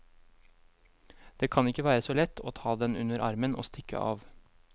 Det kan ikke være så lett å ta den under armen og stikke av.